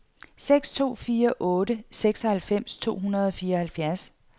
seks to fire otte seksoghalvfems to hundrede og fireoghalvfjerds